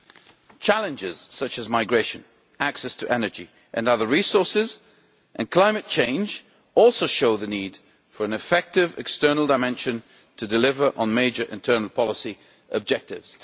The challenges such as migration, access to energy and other resources, and climate change also show the need for an effective external dimension to deliver on major internal policy objectives.